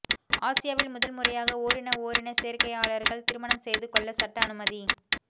ஆசியாவில் முதல்முறையாக ஓரின ஓரினச் சேர்க்கையாளர்கள் திருமணம் செய்துகொள்ள சட்ட அனுமதி